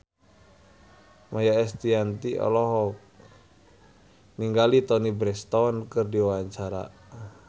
Maia Estianty olohok ningali Toni Brexton keur diwawancara